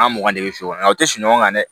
An mugan de bɛ sokɔnɔ aw tɛ sunɔgɔ kan dɛ